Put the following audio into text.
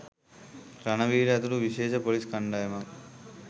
රණවීර ඇතුළු විශේෂ පොලිස්‌ කණ්‌ඩායමක්